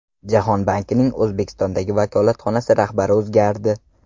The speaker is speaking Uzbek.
Jahon bankining O‘zbekistondagi vakolatxonasi rahbari o‘zgardi.